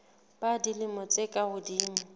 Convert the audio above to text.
ba dilemo tse ka hodimo